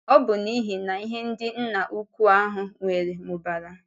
Ọ́ bụ n’ihi na ihe ndị Nna Ukwú ahụ nwere mụbara.